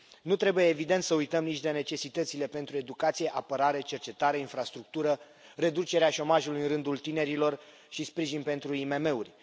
Nu trebuie, evident, să uităm nici de necesitățile pentru educație, apărare, cercetare, infrastructură, reducerea șomajului în rândul tinerilor și sprijin pentru IMM uri.